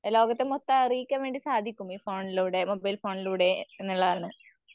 ലോകത്ത് മൊത്തം അറിയിക്കാൻവേണ്ടി സാധിക്കും ഈ ഫോണിലൂടെ മൊബൈൽ ഫോണിലൂടെ എന്നുള്ളതാണ്.